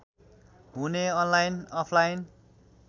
हुने online offline